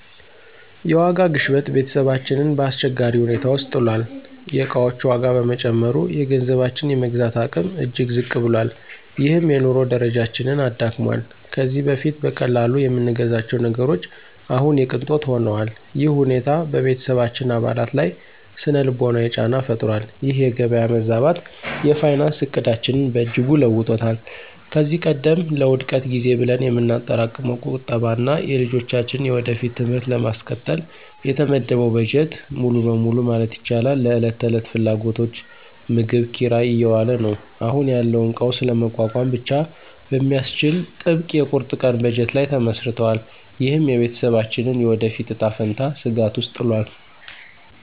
የዋጋ ግሽበት ቤተሰባችንን በአስቸጋሪ ሁኔታ ውስጥ ጥሏል። የዕቃዎች ዋጋ በመጨመሩ፣ የገንዘባችን የመግዛት አቅም እጅግ ዝቅ ብሏል፤ ይህም የኑሮ ደረጃችንን አዳክሟል። ከዚህ በፊት በቀላሉ የምንገዛቸው ነገሮች አሁን የቅንጦት ሆነዋል። ይህ ሁኔታ በቤተሰባችን አባላት ላይ ሥነ-ልቦናዊ ጫና ፈጥሯል። ይህ የገበያ መዛባት የፋይናንስ ዕቅዳችንን በእጅጉ ለውጦታል። ከዚህ ቀደም ለውድቀት ጊዜ ብለን የምናጠራቅመው ቁጠባ እና የልጆቻችንን የወደፊት ትምህርት ለማስቀጠል የተመደበው በጀት ሙሉ በሙሉ ማለት ይቻላል ለዕለት ተዕለት ፍላጎቶች (ምግብ፣ ኪራይ) እየዋለ ነው። አሁን ያለውን ቀውስ ለመቋቋም ብቻ በሚያስችል ጥብቅ የቁርጥ ቀን በጀት ላይ ተመስርተናል። ይህም የቤተሰባችንን የወደፊት እጣ ፈንታ ስጋት ውስጥ ጥሏል።